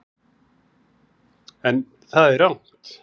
En það er rangt.